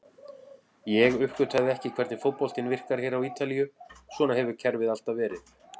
Ég uppgötvaði ekki hvernig fótboltinn virkar hér á Ítalíu, svona hefur kerfið alltaf verið.